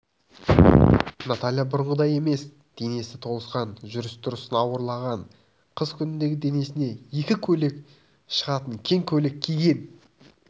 наталья бұрынғыдай емес денесі толысқан жүріс-тұрысы ауырлаған қыз күніндегі денесіне екі көйлек шығатын кең көйлек киген